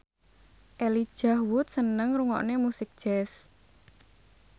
Elijah Wood seneng ngrungokne musik jazz